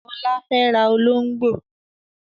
Ọlá fẹ́ ra olóngbó